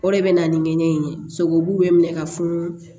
O de bɛ na ni ŋɛɲɛ in ye sogobu bɛ minɛ ka funu